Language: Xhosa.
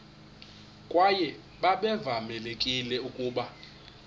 kwaye babevamelekile ukuba